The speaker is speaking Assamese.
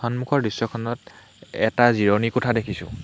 সন্মুখৰ দৃশ্যখনত এটা জিৰণি কোঠা দেখিছোঁ।